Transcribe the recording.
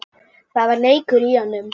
Það var leikur í honum